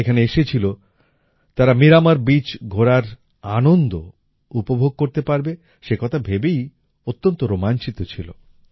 যারা এখানে এসেছিল তারা মীরামর বীচ ঘোরার আনন্দ উপভোগ করতে পারবে সেকথা ভেবেই অত্যন্ত রোমাঞ্চিত ছিল